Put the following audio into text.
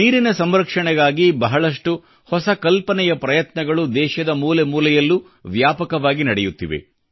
ನೀರಿನ ಸಂರಕ್ಷಣೆಗಾಗಿ ಬಹಳಷ್ಟು ಹೊಸ ಕಲ್ಪನೆಯ ಪ್ರಯತ್ನಗಳು ದೇಶದ ಮೂಲೆ ಮೂಲೆಯಲ್ಲೂ ವ್ಯಾಪಕವಾಗಿ ನಡೆಯುತ್ತಿವೆ